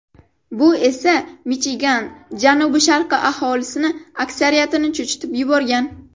Bu esa Michigan janubi-sharqi aholisi aksariyatini cho‘chitib yuborgan.